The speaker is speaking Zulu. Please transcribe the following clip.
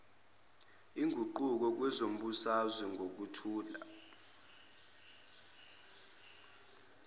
iguquko kwezombusazwe ngokuthula